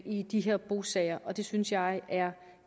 i de her bosager og det synes jeg er